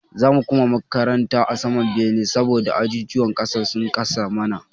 Za mu koma karatu a saman bene saboda ajujuwan ƙasan sun kasa mana.